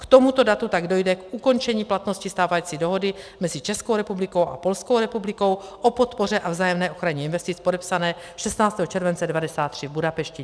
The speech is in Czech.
K tomuto datu tak dojde k ukončení platnosti stávající dohody mezi Českou republikou a Polskou republikou o podpoře a vzájemné ochraně investic, podepsané 16. července 1993 v Budapešti.